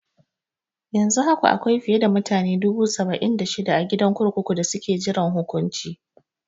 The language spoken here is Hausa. Yanzu haka akwai fiye da mutane dubu saba'in da shida a gidan kurkuku da suke jiran hukunci.